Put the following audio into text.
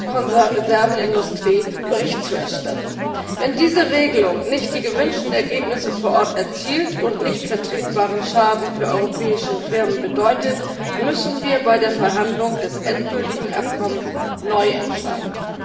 Konservenindustrie Bericht zu erstatten. Wenn diese Regelung nicht die gewünschten Ergebnisse vor Ort erzielt und nicht vertretbaren Schaden für europäische Firmen bedeutet, müssen wir bei der Verhandlung des endgültigen Abkommens neu entscheiden.